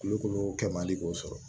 Kulukoro kɛ man di k'o sɔrɔ